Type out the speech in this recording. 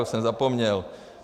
Už jsem zapomněl.